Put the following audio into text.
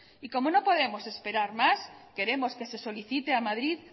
y como no podemos esperar más queremos que se solicite a madrid